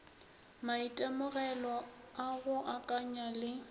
maitemogelo a go akanya le